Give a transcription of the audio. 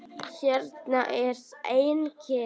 Hérna er enginn.